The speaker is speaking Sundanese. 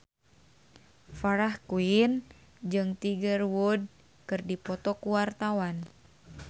Farah Quinn jeung Tiger Wood keur dipoto ku wartawan